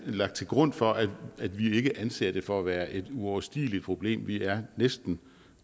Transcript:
lagt til grund for at vi ikke anser det for at være et uoverstigeligt problem vi er næsten